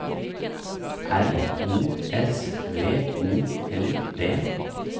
R O S V O L D